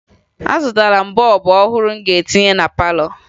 Azụtara m bọọbụ ọhụrụ m ga-etinye na palọ